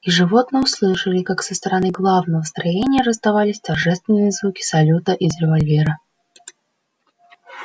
животные услышали как со стороны главного строения раздавались торжественные звуки салюта из револьвера